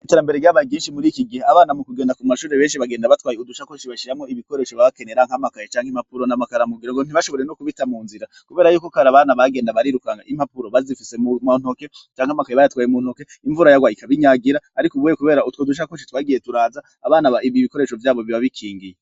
Iterambere ryabaye ryinshi, abana benshi bagenda batwaye ubusakoshi bashiramwo ibikoresho baba bakenera nk'amakaye cank'impapuro n'amakaramu kugira ngo ntibashobore no kubita mu nzira ,kubera yuko ubwambere abana bagenda barikuka n'impapuro bazifise mu ntoke canke amakaye bayatwaye mu ntoke imvura yarwa ikabinhagira ariko ubuye kubera utwo dusakoshi twagiyee turaza abana bari n'igikoresho vyabo biba bikingiye.